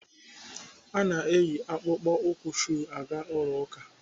A na-eyi akpụkpọ ụkwụ shuu aga ụlọ ụka.